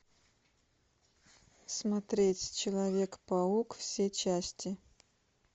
смотреть человек паук все части